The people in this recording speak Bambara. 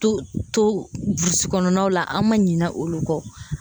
To to burusi kɔnɔnaw la an ma ɲina olu kɔ.